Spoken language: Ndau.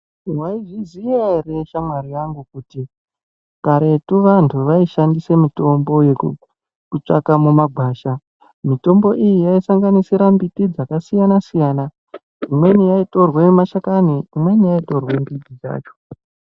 Waizviziva here shamwari yangu kuti karetu vantu vaishandisa mitombo yokutsvaka mumagwasha mitombo iyi yaisanganisira mbiti dzakasiyana siyana imweni yaitorwa mashakani imwnei yaitorwa midzi yacho.